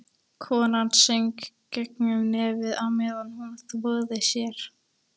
Konan söng gegnum nefið á meðan hún þvoði sér.